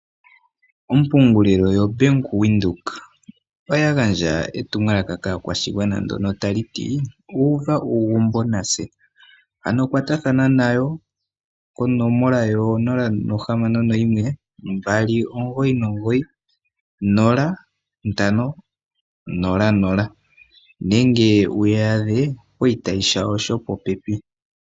Ompungulilo yoBank Windhoek oya gandja etumwalaka kaakwashigwana ndyono tali ti: "Uva uugumbo natse", ano kwatathana nayo konomola yo 061 2990500 nenge wu ya adhe poshitayi shawo shopopepi.